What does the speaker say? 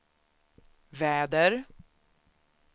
väder